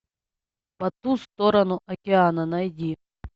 по ту сторону океана найди